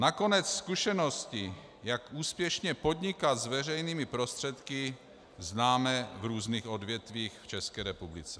Nakonec zkušenosti, jak úspěšně podnikat s veřejnými prostředky, známe v různých odvětvích v České republice.